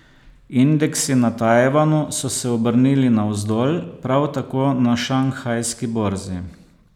Indeksi na Tajvanu so se obrnili navzdol, prav tako na šanghajski borzi.